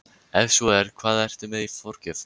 Ef svo er, hvað ertu með í forgjöf?